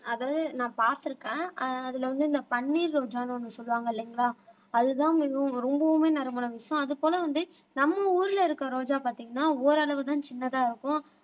அதாவது நான் பார்த்திருக்கேன் ஆஹ் அதுல வந்து இந்த பன்னீர் ரோஜான்னு ஒண்ணு சொல்லுவாங்க இல்லைங்களா அதுதான் மிகவும் ரொம்பவுமே நறுமணம் வீசும் அது போல வந்து நம்ம ஊர்ல இருக்க ரோஜா பாத்தீங்கன்னா ஓரளவுதான் சின்னதா இருக்கும்